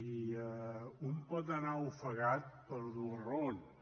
i un pot anar ofegat per dues raons